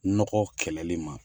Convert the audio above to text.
Nɔgɔ kɛlɛli man.